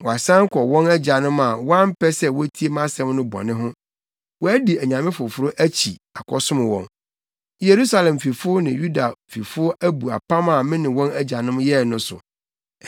Wɔasan kɔ wɔn agyanom a wɔampɛ sɛ wotie mʼasɛm no bɔne ho. Wɔadi anyame foforo akyi akɔsom wɔn. Yerusalem fifo ne Yuda fifo abu apam a me ne wɔn agyanom yɛe no so.